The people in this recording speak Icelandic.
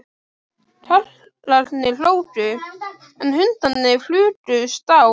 Karlarnir hlógu, en hundarnir flugust á.